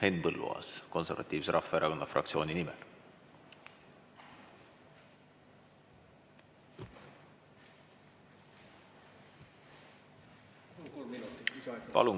Henn Põlluaas Konservatiivse Rahvaerakonna fraktsiooni nimel, palun!